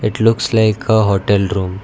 it looks like a hotel room.